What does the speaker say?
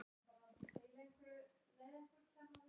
En því fór víðs fjarri.